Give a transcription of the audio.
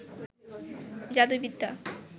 জাদুবিদ্যা